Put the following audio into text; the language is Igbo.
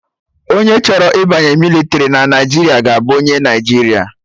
Onye chọrọ ịbanye mịlịtrị na Naijiria ga-abụ onye Naijiria